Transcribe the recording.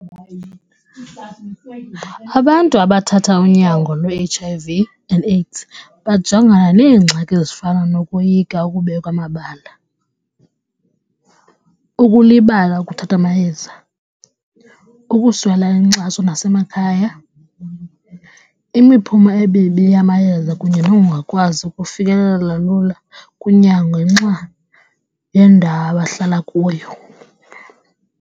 Abantu abathatha unyango lwe-H_I_V and AIDS bajongana neengxaki ezifana nokoyika ukubekwa amabala, ukulibala ukuthatha amayeza, ukuswela inkxaso nasemakhaya, imiphumo emibi yamayeza kunye nokungakwazi ukufikelela lula kunyango ngenxa yendawo abahlala kuyo.